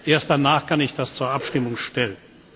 Erst danach kann ich das zur Abstimmung stellen.